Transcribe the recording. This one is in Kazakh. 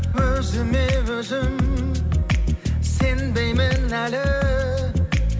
өзіме өзім сенбеймін әлі